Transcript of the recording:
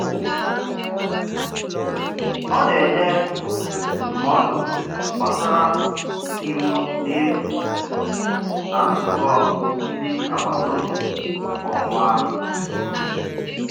Ọ na-enye ndụmọdụ gbasara iwu n'efu na nzukọ ndị agbataobi kwa ọnwa.